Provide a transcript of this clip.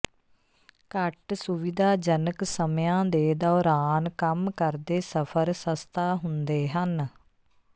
ਘੱਟ ਸੁਵਿਧਾਜਨਕ ਸਮਿਆਂ ਦੇ ਦੌਰਾਨ ਕੰਮ ਕਰਦੇ ਸਫਰ ਸਸਤਾ ਹੁੰਦੇ ਹਨ